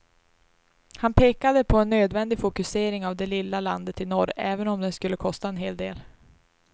Han pekade på en nödvändig fokusering av det lilla landet i norr, även om den skulle kosta en hel del.